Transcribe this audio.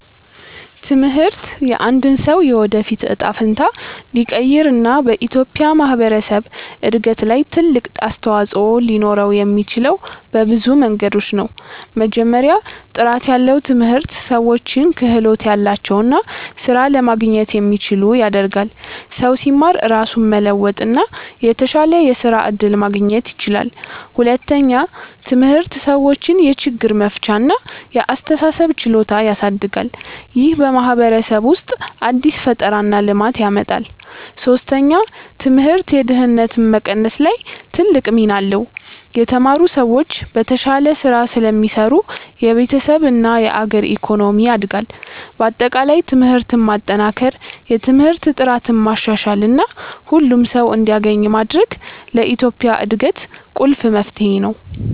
ትምህርት የአንድን ሰው የወደፊት እጣ ፈንታ ሊቀይር እና በኢትዮጵያ ማህበረሰብ እድገት ላይ ትልቅ አስተዋፅኦ ሊኖረው የሚችለው በብዙ መንገዶች ነው። መጀመሪያ፣ ጥራት ያለው ትምህርት ሰዎችን ክህሎት ያላቸው እና ስራ ለማግኘት የሚችሉ ያደርጋል። ሰው ሲማር ራሱን መለወጥ እና የተሻለ የስራ እድል ማግኘት ይችላል። ሁለተኛ፣ ትምህርት ሰዎችን የችግር መፍቻ እና የአስተሳሰብ ችሎታ ያሳድጋል። ይህ በማህበረሰብ ውስጥ አዲስ ፈጠራ እና ልማት ያመጣል። ሶስተኛ፣ ትምህርት የድህነት መቀነስ ላይ ትልቅ ሚና አለው። የተማሩ ሰዎች በተሻለ ስራ ስለሚሰሩ የቤተሰብ እና የአገር ኢኮኖሚ ያድጋል። በአጠቃላይ ትምህርትን ማጠናከር፣ የትምህርት ጥራትን ማሻሻል እና ሁሉም ሰው እንዲያገኝ ማድረግ ለኢትዮጵያ እድገት ቁልፍ መፍትሄ ነው።